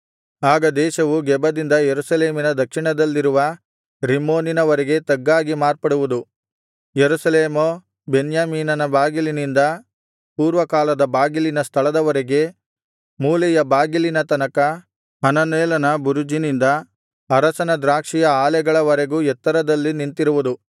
ಆಗ ದೇಶವು ಗೆಬದಿಂದ ಯೆರೂಸಲೇಮಿನ ದಕ್ಷಿಣದಲ್ಲಿರುವ ರಿಮ್ಮೋನಿನವರೆಗೆ ತಗ್ಗಾಗಿ ಮಾರ್ಪಡುವುದು ಯೆರೂಸಲೇಮೋ ಬೆನ್ಯಾಮೀನಿನ ಬಾಗಿಲಿನಿಂದ ಪೂರ್ವಕಾಲದ ಬಾಗಿಲಿನ ಸ್ಥಳದವರೆಗೆ ಮೂಲೆಯ ಬಾಗಿಲಿನ ತನಕ ಹನನೇಲನ ಬುರುಜಿನಿಂದ ಅರಸನ ದ್ರಾಕ್ಷಿಯ ಆಲೆಗಳವರೆಗೂ ಎತ್ತರದಲ್ಲಿ ನಿಂತಿರುವುದು